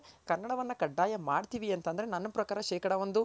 ಕನ್ನಡವನ್ನ ಕಡ್ಡಾಯ ಮಾಡ್ತಿವಿ ಅಂದ್ರೆ ನನ್ನ ಪ್ರಕಾರ ಶೇಕಡಾ ಒಂದು